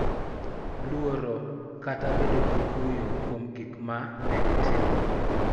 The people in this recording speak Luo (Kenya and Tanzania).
Luoro, kata bedo gi kuyo kuom gik ma ne gitimo.